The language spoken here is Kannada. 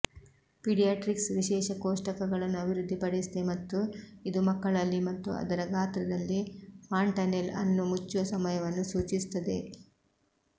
ಪೀಡಿಯಾಟ್ರಿಕ್ಸ್ ವಿಶೇಷ ಕೋಷ್ಟಕಗಳನ್ನು ಅಭಿವೃದ್ಧಿಪಡಿಸಿದೆ ಮತ್ತು ಇದು ಮಕ್ಕಳಲ್ಲಿ ಮತ್ತು ಅದರ ಗಾತ್ರದಲ್ಲಿ ಫಾಂಟನೆಲ್ ಅನ್ನು ಮುಚ್ಚುವ ಸಮಯವನ್ನು ಸೂಚಿಸುತ್ತದೆ